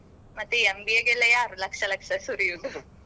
ಮತ್ತೆ MBA ಗೆಲ್ಲ ಯಾರು ಲಕ್ಷ ಲಕ್ಷ ಸುರಿಯುದು ?